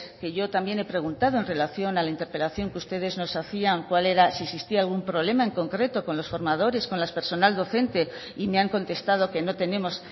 que yo también he preguntado en relación a la interpelación que ustedes nos hacían si existía algún problema en concreto con los formadores con el personal docente y me han contestado que no tenemos